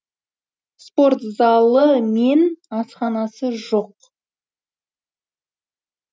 спорт залы мен асхана жоқ